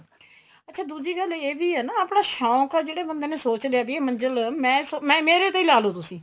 ਅੱਛਾ ਦੂਜੀ ਗੱਲ ਇਹ ਵੀ ਏ ਨਾ ਆਪਣਾ ਸ਼ੋਂਕ ਏ ਜਿਹੜੇ ਬੰਦੇ ਨੇ ਸੋਚ ਲਿਆ ਵੀ ਇਹ ਮੰਜਿਲ ਮੈਂ ਮੇਰੇ ਤੇ ਈ ਲਾਲੋ ਤੁਸੀਂ